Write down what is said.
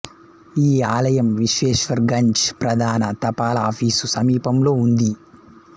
ఈ ఆలయం విశ్వేశ్వర్ గంజ్ ప్రధాన తపాలాఫీసు సమీపంలో ఉంది